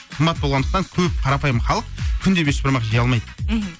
қымбат болғандықтан көп қарапайым халық күнде бешбармақ жей алмайды мхм